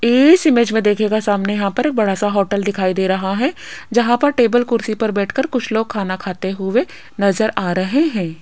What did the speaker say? इस इमेज में देखिएगा सामने यहां पर एक बड़ा सा होटल दिखाई दे रहा है जहां पर टेबल कुर्सी पर बैठकर कुछ लोग खाना खाते हुए नजर आ रहे हैं।